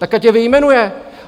Tak ať je vyjmenuje!